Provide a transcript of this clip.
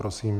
Prosím.